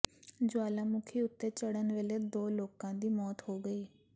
ਜੁਆਲਾਮੁਖੀ ਉੱਤੇ ਚੜ੍ਹਨ ਵੇਲੇ ਦੋ ਲੋਕਾਂ ਦੀ ਮੌਤ ਹੋ ਗਈ